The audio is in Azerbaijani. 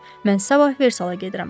Mən sabah Versala gedirəm.